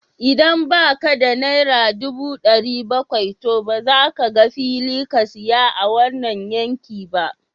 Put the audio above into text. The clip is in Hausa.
Idan ba ka da naira ɗubu ɗari bakwai, to ba za ka ga fili ka saya a wannan yanki ba